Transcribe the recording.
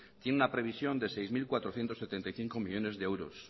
tiene una previsión de seis mil cuatrocientos setenta y cinco millónes de euro